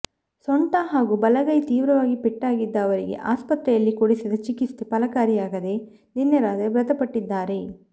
ಸೊಂಟ ಹಾಗೂ ಬಲಗೈಗೆ ತೀವ್ರ ಪೆಟ್ಟಾಗಿದ್ದ ಅವರಿಗೆ ಆಸ್ಪತ್ರೆಯಲ್ಲಿ ಕೊಡಿಸಿದ ಚಿಕಿತ್ಸೆ ಫಲಕಾರಿಯಾಗದೆ ನಿನ್ನೆ ರಾತ್ರಿ ಮೃತಪಟ್ಟಿದ್ದಾರೆ